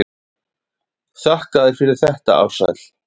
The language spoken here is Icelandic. Þakka þér fyrir þetta Ársæll.